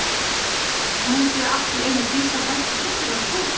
Og nú mundi ég allt í einu Dísa frænka hlaut að vera Sóldís.